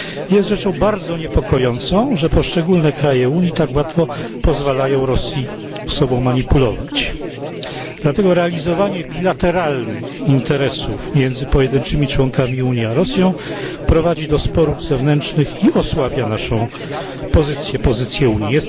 Jest rzeczą bardzo niepokojącą, że poszczególne kraje Unii tak łatwo pozwalają Rosji sobą manipulować. Dlatego realizowanie bilateralnych interesów między pojedynczymi członkami Unii a Rosją prowadzi do sporów wewnętrznych i osłabia naszą pozycję, pozycję Unii.